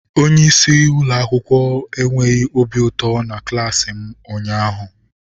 Onye isi ụlọ akwụkwọ enweghị obi ụtọ na klaasi m ụnyaahụ.